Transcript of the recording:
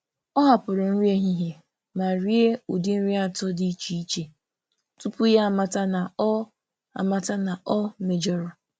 Ọ hapụrụ nri ehihie hapụrụ nri ehihie ma rie ụdị nri atọ dị iche iche tupu ya amata na ọ mejọrọ.